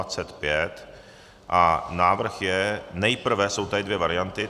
A návrh je nejprve - jsou tady dvě varianty.